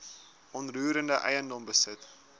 onroerende eiendom besit